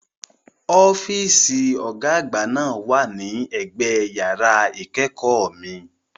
Ọ́fíìsì Ọ̀gá àgbà náà wà ní ẹ̀gbẹ yàrá ìkẹ́kọ̀ọ́ mi